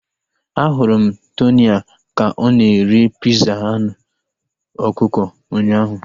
A hụrụ m Tonia ka ọ na-eri piza anụ ọkụkọ ụnyaahụ